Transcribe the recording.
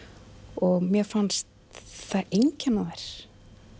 og mér fannst það einkenna þær